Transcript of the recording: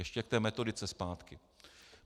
Ještě k té metodice zpátky.